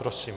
Prosím.